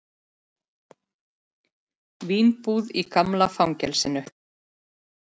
Vínbúð í gamla fangelsinu